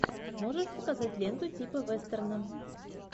можешь показать ленту типа вестерна